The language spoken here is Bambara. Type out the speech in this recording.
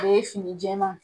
O ye fini jɛma.